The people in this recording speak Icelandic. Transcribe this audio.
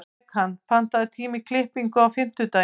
Bekan, pantaðu tíma í klippingu á fimmtudaginn.